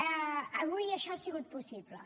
avui això ha sigut possible